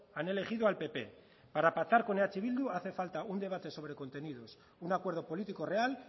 han elegido al pp amaitzen joan bai amaitzen ari naiz para pactar con eh bildu hace falta un debate sobre contenidos un acuerdo político real